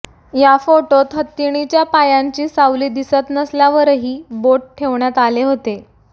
या फोटोत हत्तीणीच्या पायांची सावली दिसत नसल्यावरही बोट ठेवण्यात आले होते